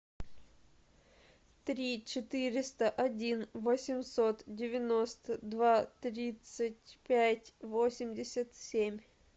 три четыреста один восемьсот девяносто два тридцать пять восемьдесят семь